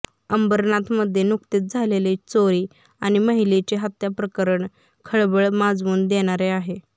अंबरनाथमध्ये नुकतेच झालेले चोरी आणि महिलेचे हत्याप्रकरण खळबळ माजवून देणारे आहे